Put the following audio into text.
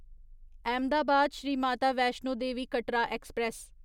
Ahmedabad Shri Mata Vaishno Devi Katra express